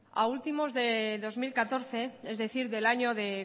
a últimos de dos mil catorce es decir del año de